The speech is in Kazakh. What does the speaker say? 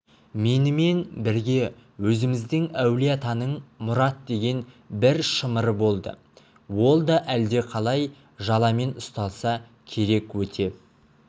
менімен бірге өзіміздің әулие-атаның мұрат деген бір шымыры болды ол да әлдеқалай жаламен ұсталса керек өте